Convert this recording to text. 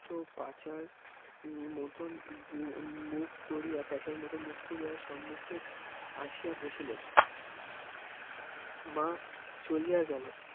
ত্য প্যাঁচার মত মুখ করিয়া প্যাঁচার মত মুখ করিয়া সুমুখের আসিয়া বসিলেন মা চলিয়া গেল